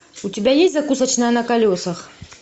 у тебя есть закусочная на колесах